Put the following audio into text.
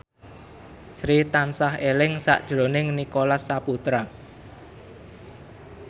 Sri tansah eling sakjroning Nicholas Saputra